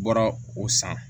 Bɔra o san